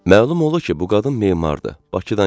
Məlum oldu ki, bu qadın memardır, Bakıdan gəlib.